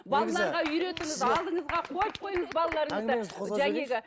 балаларға үйретіңіз алдыңызға қойып қойыңыз балаларыңызды